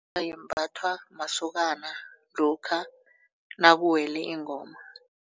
masokana lokha nakuwele ingoma.